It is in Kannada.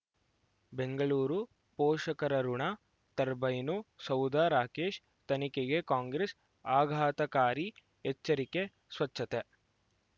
ಬೆಂಗಳೂರು ಪೋಷಕರಋಣ ಟರ್ಬೈನು ಸೌಧ ರಾಕೇಶ್ ತನಿಖೆಗೆ ಕಾಂಗ್ರೆಸ್ ಆಘಾತಕಾರಿ ಎಚ್ಚರಿಕೆ ಸ್ವಚ್ಛತೆ